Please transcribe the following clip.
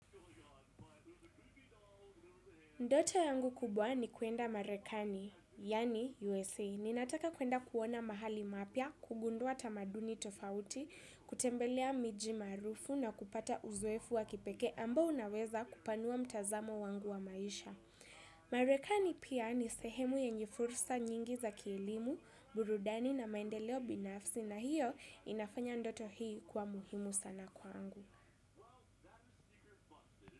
Ndote yangu kubwa ni kuenda marekani, yani USA. Ninataka kuenda kuona mahali mapya, kugundua tamaduni tofauti, kutembelea miji maarufu na kupata uzoefu wa kipeke ambao unaweza kupanua mtazamo wangu wa maisha. Marekani pia ni sehemu yenye fursa nyingi za kielimu, burudani na maendeleo binafsi na hiyo inafanya ndoto hii kuwa muhimu sana kwangu.